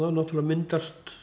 náttúrlega myndast